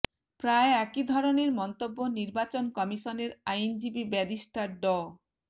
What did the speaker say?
প্রায় একই ধরনের মন্তব্য নির্বাচন কমিশনের আইনজীবী ব্যারিস্টার ড